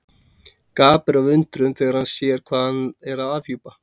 Gapir af undrun þegar hann sér hvað hann er að afhjúpa.